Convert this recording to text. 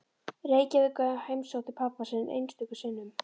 Reykjavík og heimsótti pabba sinn einstöku sinnum.